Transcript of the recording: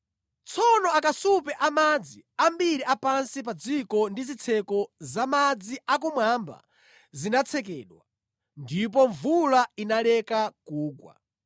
Tsono akasupe a madzi ambiri a pansi pa dziko ndi zitseko za madzi a kumwamba zinatsekedwa, ndipo mvula inaleka kugwa.